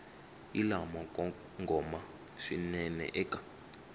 hi lamo kongoma swinene eka